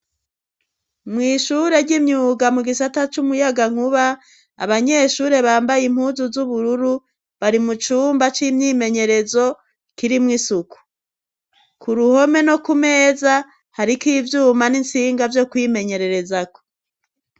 mw'ishure ry'imyuga mu gisata c'umuyagankuba abanyeshure bambaye impuzu z'ubururu bari mu cumba c'imyimenyerezo kirimwo isuku. ku ruhome no kumeza hariko ivyuma n'intsinga vyo kwimenyererezako.